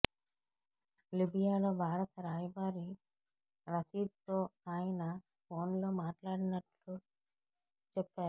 లిబియాలో భారత రాయబారి రషీద్తో ఆయన ఫోన్లో మాట్లాడినట్లు చెప్పారు